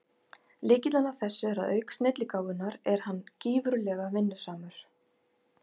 Lykillinn að þessu er að auk snilligáfunnar er hann gífurlega vinnusamur.